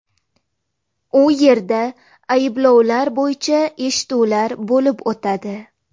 U yerda ayblovlar bo‘yicha eshituvlar bo‘lib o‘tadi.